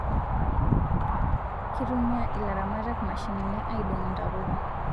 Kitumia ilaramatak mashinini aidong ntapuka